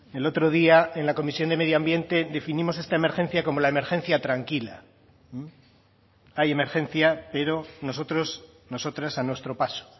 el otro día en la comisión de medio ambiente definimos esta emergencia como la emergencia tranquila hay emergencia pero nosotros nosotras a nuestro paso